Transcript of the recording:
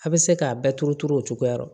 A bɛ se k'a bɛɛ turu turu o cogoya la